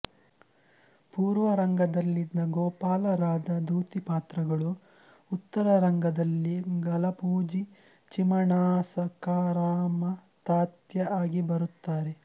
ಪುರ್ವ ರಂಗದಲ್ಲಿದ್ದ ಗೋಪಾಲ ರಾಧಾ ಧೂತಿ ಪಾತ್ರಗಳು ಉತ್ತರ ರಂಗದಲ್ಲಿ ಗಲಪೋಜಿ ಚಿಮಣಾ ಸಖಾರಾಮತಾತ್ಯಾ ಆಗಿ ಬರುತ್ತಾರೆ